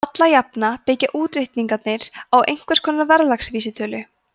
alla jafna byggja útreikningarnir á einhvers konar verðlagsvísitölu